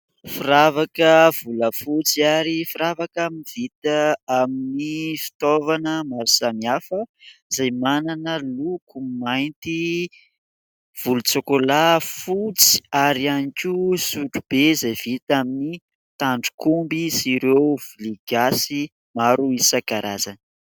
Firavaka volafotsy ary firavaka vita amin'ny fitaovana maro samihafa izay manana loko mainty, volontsôkôla, fotsy ary ihany koa sotrobe izay vita amin'ny tandrok'omby sy ireo vilia gasy maro isan-karazany.